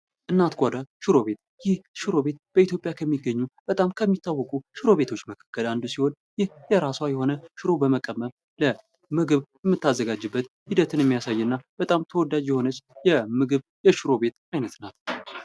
እናት ጓዳ ሽሮ ቤት፡- ይህ ሽሮ ቤት በኢትዮጵያ ከሚገኙ በጣም ከሚታወቁ ሽሮ ቤቶች መካከል አንዱ ሲሆን ፤ ይህ የራሷ የሆነ ሽሮ በመቀመም ምግብ የምታዘጋጅበት ሂደትን የሚያሳይ እና በጣም ተወዳጅ የሆነች የምግብ የሽሮ ቤት አይነት ናት።